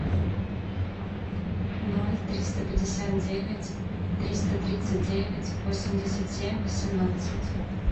ноль триста пятьдесят девять триста тридцать девять восемьдесят семь восемнадцать